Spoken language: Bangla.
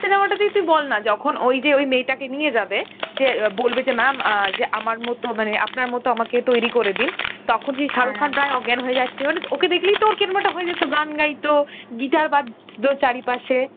এই cinema টাতেই তুই বলনা, যখন ওইযে ওই মেয়টাকে নিয়ে যাবে, যে অ বলবে যে mam, অ্যাঁ যে আমারমতো মানে আপনার মতো আমাকে তৈরী করে দিন, তখন সেই শারুখ খান প্রায় অজ্ঞান হয় যাচ্ছিল, মানে ওকে দেখলেইতো অর কিরম একটা হয় যেত, গান গাইতো, গিটার বাজতো চারি পাসে.